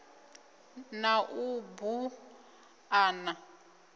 na u bu a na